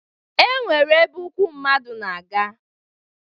E nwere ebe ụkwụ mmadụ na-aga